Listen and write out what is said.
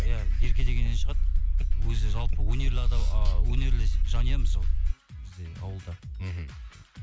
иә ерке дегеннен шығады өзі жалпы а өнерлі жанұямыз жалпы бізде ауылда мхм